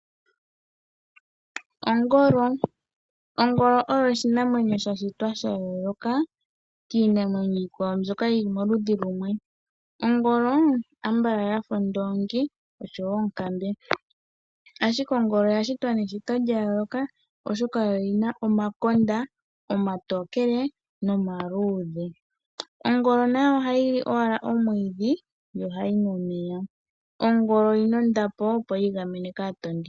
Oongolo. Oongolo oyi oshinamwenyo sha shitwa sha yooloka kiinamwenyo iikwawo mbyoka yili moludhi kumwe. Oongolo Ambala ya fa oondoongi nenge onkambe, ashike ongolo oya shitwa meshito lya yooloka oshoka oyo yi na omakonda omatokele nomaluudhe. Ongolo nayo ohayi li owala omwiidhi, yo ohayi nu omeya. Ongolo oyi na ondapo opo yi igamene kaatondi.